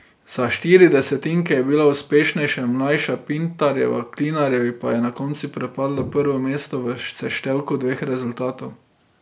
Za štiri desetinke je bila uspešnejša mlajša Pintarjeva, Klinarjevi pa je na koncu pripadlo prvo mesto v seštevku dveh rezultatov.